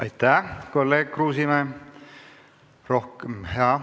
Aitäh, kolleeg Kruusimäe!